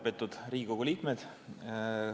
Lugupeetud Riigikogu liikmed!